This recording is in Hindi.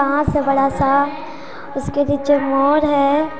ताज है बड़ा -सा उसके नीचे मोर हैं।